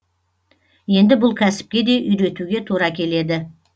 енді бұл кәсіпке де үйретуге тура келеді